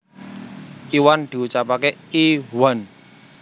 Iwan diucapake i whan